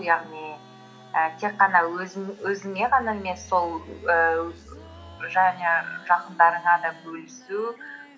яғни і тек қана өзіңе ғана емес сол ііі және жақындарыңа да бөлісу